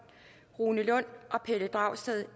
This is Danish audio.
rune lund og pelle dragsted